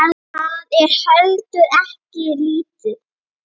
Það er heldur ekki lítið.